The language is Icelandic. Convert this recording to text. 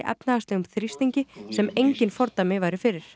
efnahagslegum þrýstingi sem engin fordæmi væru fyrir